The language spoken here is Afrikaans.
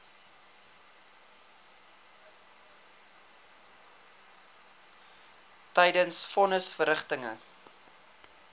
tydens von nisverrigtinge